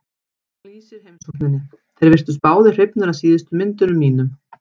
Hún lýsir heimsókninni: Þeir virtust báðir hrifnir af síðustu myndunum mínum.